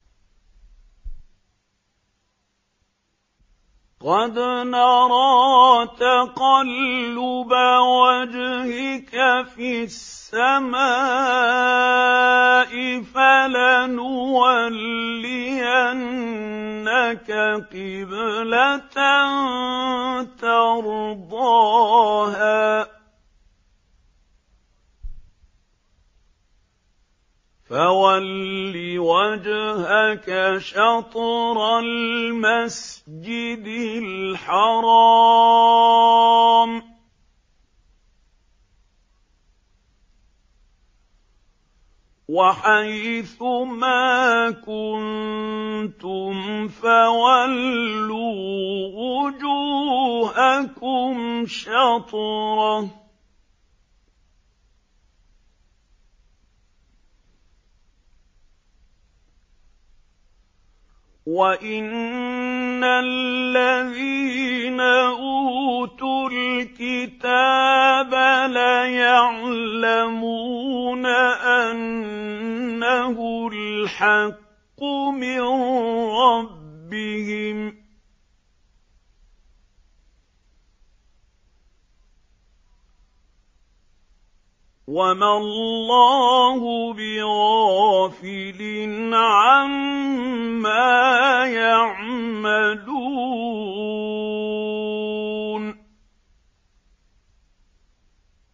قَدْ نَرَىٰ تَقَلُّبَ وَجْهِكَ فِي السَّمَاءِ ۖ فَلَنُوَلِّيَنَّكَ قِبْلَةً تَرْضَاهَا ۚ فَوَلِّ وَجْهَكَ شَطْرَ الْمَسْجِدِ الْحَرَامِ ۚ وَحَيْثُ مَا كُنتُمْ فَوَلُّوا وُجُوهَكُمْ شَطْرَهُ ۗ وَإِنَّ الَّذِينَ أُوتُوا الْكِتَابَ لَيَعْلَمُونَ أَنَّهُ الْحَقُّ مِن رَّبِّهِمْ ۗ وَمَا اللَّهُ بِغَافِلٍ عَمَّا يَعْمَلُونَ